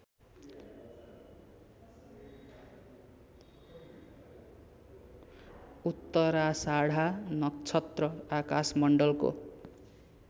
उत्तराषाढा नक्षत्र आकाशमण्डलको